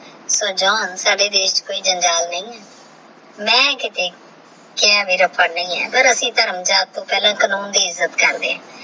ਸਾਡੇ ਦੇਸ਼ ਕੋਈ ਜੰਜਾਲ ਨਹੀ ਆਹ ਮੈ ਕਹਤੇ ਕ਼ਯਾ ਮੇਰਾ ਨਹੀ ਆਏ ਪਰ ਅਸੀਂ ਤੇਹ ਰਾਮ੍ਮ੍ਜਾ ਟੋਹ ਪਹਲਾ ਕਾਨੂਨ ਦੀ ਇਜ੍ਜਤ ਕਰਦੇ ਆ